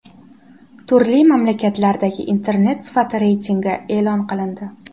Turli mamlakatlardagi Internet sifati reytingi e’lon qilindi.